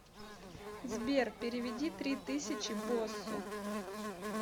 сбер переведи три тысячи боссу